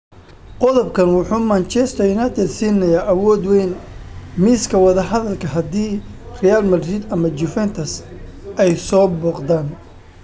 "Qodobkan wuxuu Manchester United siinayaa awood weyn miiska wadahadalka haddii Real Madrid ama Juventus ay soo booqdaan."